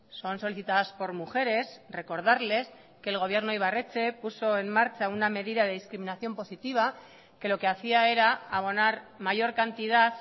son solicitadas por mujeres recordarles que el gobierno ibarretxe puso en marcha una medida de discriminación positiva que lo que hacía era abonar mayor cantidad